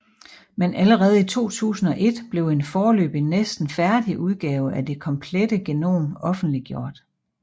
Men allerede i 2001 blev en foreløbig næsten færdig udgave af det komplette genom offentliggjort